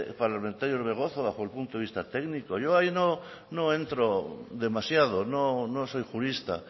parlamentario orbegozo bajo el punto de vista técnico yo ahí no entro demasiado no soy jurista